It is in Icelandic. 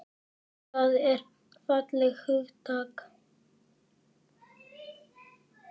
Og það er fallegt hugtak.